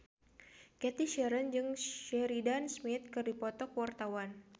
Cathy Sharon jeung Sheridan Smith keur dipoto ku wartawan